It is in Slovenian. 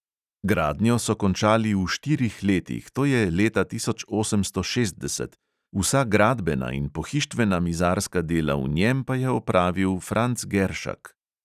Gradnjo so končali v štirih letih, to je leta tisoč osemsto šestdeset, vsa gradbena in pohištvena mizarska dela v njem pa je opravil franc geršak.